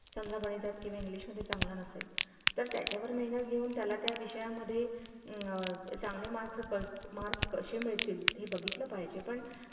जर समजा गणितात किंवा english मध्ये चांगला नसेल तर त्याच्या वर मेहनत घेऊन त्याला त्या विषया मध्ये अ चांगले mark ~ marks कशी मिळतील हे बघितलं पाहिजे पण